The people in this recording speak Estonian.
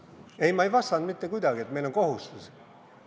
Ei, ma ei vastanud, et meil on kohustus.